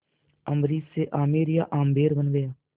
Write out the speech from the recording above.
अम्बरीश से आमेर या आम्बेर बन गया